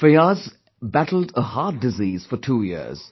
Fiaz, battled a heart disease for two years